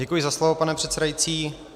Děkuji za slovo, pane předsedající.